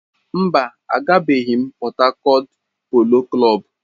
Mba, agabeghi m Pọt Hakọt Polo Klọb.